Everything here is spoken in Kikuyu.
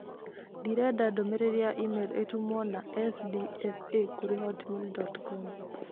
Ndĩrenda ndũmĩrĩri ya e-mail ĩtũmwo na sdfa kũrĩ hotmail dot com